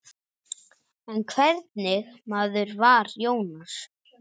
En hvernig maður var Jónas?